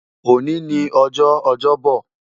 Òní ni ọjọ́ Ọjọ́bo̩